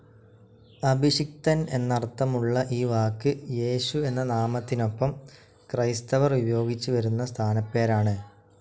അഭിഷിക്തൻ എന്നർത്ഥമുള്ള ഈ വാക്ക് യേശു എന്ന നാമത്തിനൊപ്പം ക്രൈസ്തവർ ഉപയോഗിച്ചു വരുന്ന സ്ഥാനപ്പേരാണ്.